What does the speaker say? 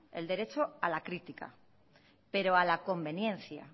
el derecho a la crítica pero a la conveniencia